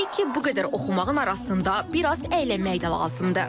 Təbii ki, bu qədər oxumağın arasında biraz əylənmək də lazımdır.